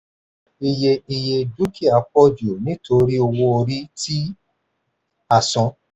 ìye ìye dúkìá pọ̀ jù nítorí owó-orí tí a san.